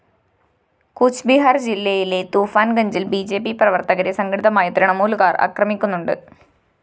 കൂച്ച്ബീഹാര്‍ ജില്ലയിലെ തൂഫാന്‍ഗഞ്ചില്‍ B J P പ്രവര്‍ത്തകരെ സംഘടിതമായി തൃണമൂലുകാര്‍ ആക്രഗമിക്കുന്നുണ്ട്‌